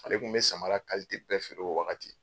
Ale tun bɛ samara kalite bɛɛ feere o waati.